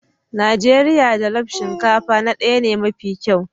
Najeriya jollof shinkafa na daya ne mafi kyau.